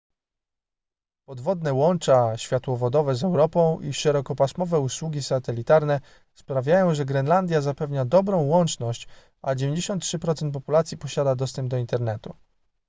podwodne łącza światłowodowe z europą i szerokopasmowe usługi satelitarne sprawiają że grenlandia zapewnia dobrą łączność a 93% populacji posiada dostęp do internetu